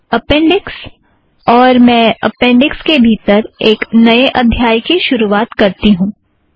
appendix और मैं appendix के भीतर एक नए अध्याय की शुरुवात करती हूँ